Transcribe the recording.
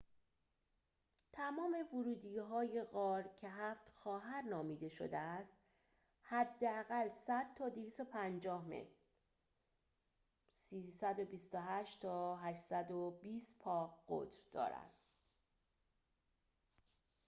تمام ورودی‌های غار که «هفت خواهر» نامیده شده است حداقل 100 تا 250 متر 328 تا 820 پا قطر دارند